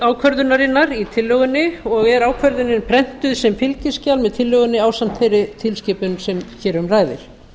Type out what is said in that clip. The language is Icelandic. ákvörðunarinnar í tillögunni og er ákvörðunin prentuð sem fylgiskjal með tillögunni ásamt þeirri tilskipun sem hér um ræðir